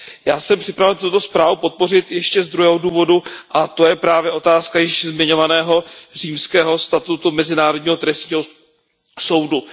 Já jsem připraven tuto zprávu podpořit ještě z druhého důvodu, a to je právě otázka již zmiňovaného Římského statutu Mezinárodního trestního soudu.